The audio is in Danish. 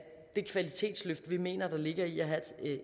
det kvalitetsløft vi mener der ligger i at have